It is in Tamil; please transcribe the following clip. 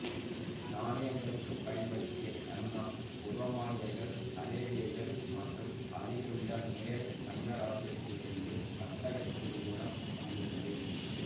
நாணயங்களுக்குப் பயன்படுத்திய தங்கம் உரோமானியர்கள் அரேபியர்கள் மற்றும் அருகிலுள்ள மேலைக் கங்க இராச்சியத்திலிருந்து வர்த்தகத்தின் மூலம் வந்துள்ளது